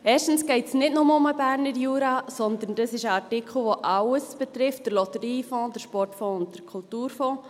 Erstens geht es nicht nur um den Berner Jura, sondern um einen Artikel, der alles betrifft: den Lotteriefonds, den Sportfonds und den Kulturfonds.